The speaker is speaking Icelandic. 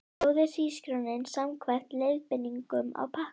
Sjóðið hrísgrjónin samkvæmt leiðbeiningum á pakkanum.